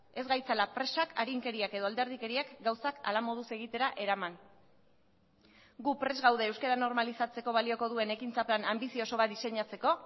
ez gaitzala presak arinkeriak edo alderdikeriak gauzak ala moduz egitera eraman gu prest gaude euskara normalizatzeko balioko duen ekintza plan anbizioso bat diseinatzeko